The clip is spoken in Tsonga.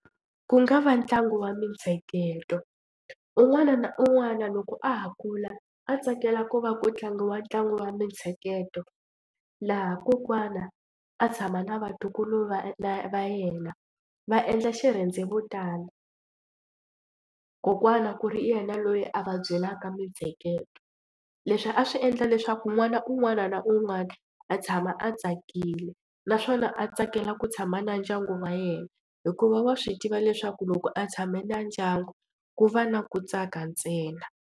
Ku nga va ntlangu wa mitsheketo un'wana na un'wana loko a ha kula a tsakela ku va ku tlangiwa ntlangu wa mitsheketo laha kokwana a tshama na vatukulu va na va yena va endla xirhendevutana kokwana ku ri yena loyi a va byelaka mitsheketo. Leswi a swi endla leswaku n'wana un'wana na un'wana a tshama a tsakile naswona a tsakela ku tshama na ndyangu wa yena hikuva wa swi tiva leswaku loko a tshame na ndyangu ku va na ku tsaka ntsena.